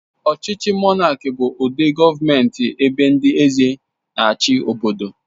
Ọchịchị monáki bụ ụdị gọọmenti ebe ndị eze n'chi obodo